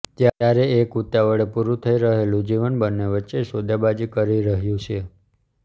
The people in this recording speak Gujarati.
ત્યારે એક ઉતાવળે પૂરું થઈ રહેલું જીવન બન્ને વચ્ચે સોદાબાજી કરી રહ્યું છે